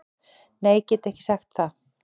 Nei get ekki sagt það.